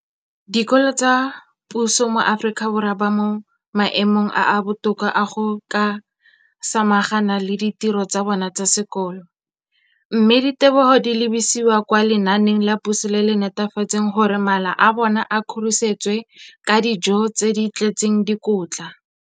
Dikolo tsa puso mo Aforika Borwa ba mo maemong a a botoka a go ka samagana le ditiro tsa bona tsa sekolo, mme ditebogo di lebisiwa kwa lenaaneng la puso le le netefatsang gore mala a bona a kgorisitswe ka dijo tse di tletseng dikotla.